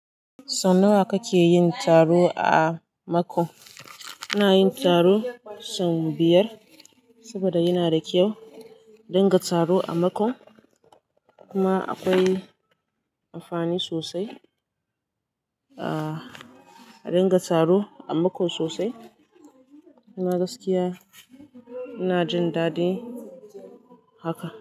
Sau nawa ka ke yin taro a Mako? Ina yin taro sau biyar saboda yana da kyau a dinga taro a Mako. Kuma akwai amfani sosai a dinga taro a Mako sosai. Kuma gaskiya ina jin daɗin haka.